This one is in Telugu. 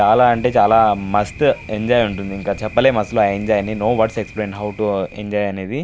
చాలా అంటే చాలా మస్త్ ఎంజాయ్ ఉంటుంది. ఇంకా చెప్పలేం అసలా ఆ enjoy no word to explain how to enjoy అనేది.